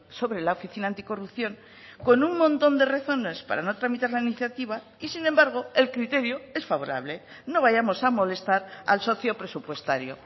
sobre la oficina anticorrupción con un montón de razones para no tramitar la iniciativa y sin embargo el criterio es favorable no vayamos a molestar al socio presupuestario